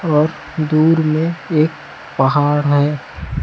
और दूर में एक पहाड़ है